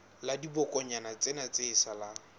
la dibokonyana tsena tse salang